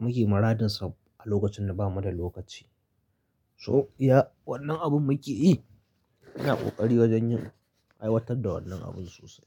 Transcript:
muke maradinsu a lokacin da ba mu da lokaci. So, iya wannan abin muke yi muna ƙoƙari wajen yin aiwatar da wannan abun sosai.